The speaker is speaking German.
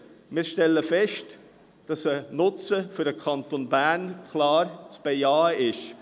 Wir stellen fest, dass ein Nutzen für den Kanton Bern klar zu bejahen ist.